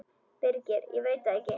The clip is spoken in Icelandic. Birgir: Ég veit það ekkert.